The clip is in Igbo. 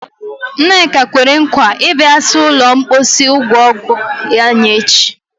Nneka kwere nkwa ịbịa saa ụlọ mposi ụlọ ọgwụ anyị echi.